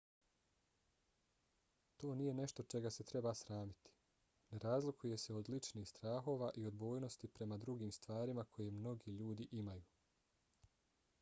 to nije nešto čega se treba sramiti: ne razlikuje se od ličnih strahova i odbojnosti prema drugim stvarima koje mnogi ljudi imaju